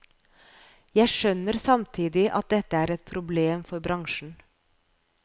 Jeg skjønner samtidig at dette er et problem for bransjen.